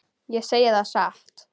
Ég segi það satt.